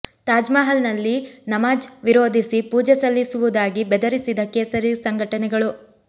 ತಾಜ್ ಮಹಲ್ ನಲ್ಲಿ ನಮಾಝ್ ವಿರೋಧಿಸಿ ಪೂಜೆ ಸಲ್ಲಿಸುವುದಾಗಿ ಬೆದರಿಸಿದ ಕೇಸರಿ ಸಂಘಟನೆಗಳು